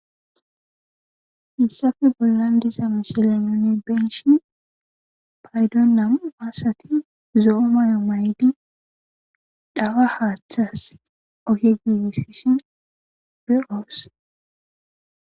Haysafe bollan diza misile nunni beyshin paydon namu asati zo7o mayo maydi dhawa haaththas ohe giigisishin be'oos